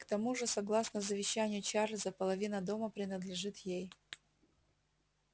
к тому же согласно завещанию чарлза половина дома принадлежит ей